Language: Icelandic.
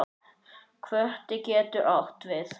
Kvóti getur átt við